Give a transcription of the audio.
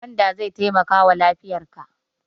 Gwanda zai taimakawa lafiyarka.